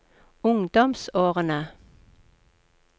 ungdomsårene